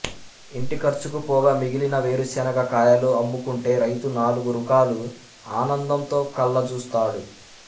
ఇంటి ఖర్చుకు పోగా మిగిలిన వేరుశెనగ కాయలు అమ్ము కుంటే రైతు నాలుగు రూకలు ఆనందంతో కళ్ల జూస్తాడు